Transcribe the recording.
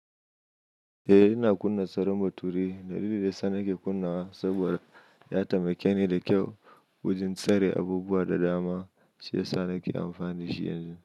Eh ina kunna tsaron bature. Dalilin da yasa nike kunnawa saboda ya taimake ni da kyau wajen tsare abubuwa da dama. Shiyasa nake amfani dashi yanzu.